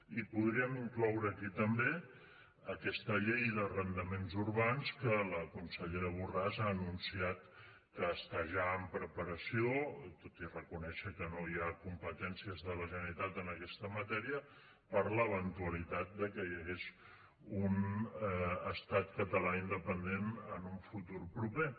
hi podríem incloure aquí també aquesta llei d’arrendaments urbans que la consellera borràs ha anunciat que està ja en preparació tot i reconèixer que no hi ha competències de la generalitat en aquesta matèria per l’eventualitat de que hi hagués un estat català independent en un futur proper